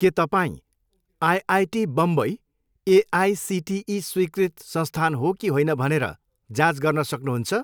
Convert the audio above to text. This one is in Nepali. के तपाईँँ आइआइटी बम्बई एआइसिटिई स्वीकृत संस्थान हो कि होइन भनेर जाँच गर्न सक्नुहुन्छ?